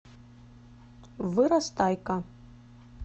вырастайка